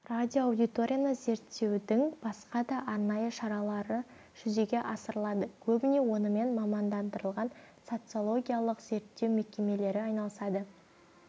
радиоаудиторияны зерттеудің басқа да арнайы шаралары жүзеге асырылады көбіне онымен мамандандырылған социологиялық зерттеу мекемелері айналысады